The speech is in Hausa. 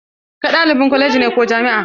Kai ɗalibin kwaleji ne ko jami'a?